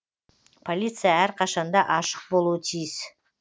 полиция әр қашанда ашық болуы тиіс